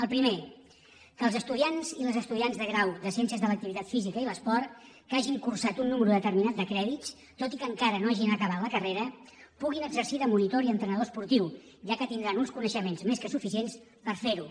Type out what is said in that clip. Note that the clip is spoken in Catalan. el primer que els estudiants i les estudiants de grau de ciències de l’activitat física i l’esport que hagin cursat un nombre determinat de crèdits malgrat que encara no hagin acabat la carrera podran exercir de monitors i entrenadors esportius ja que tindran uns coneixements més que suficients per fer ho